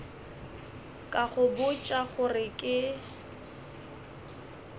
ka go botša gore ke